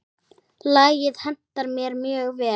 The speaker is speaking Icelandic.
Lagið hentar mér mjög vel.